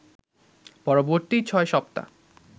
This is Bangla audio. পরবর্তী ছয় সপ্তা